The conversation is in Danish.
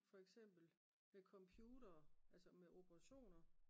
for eksempel med computere altså med operationer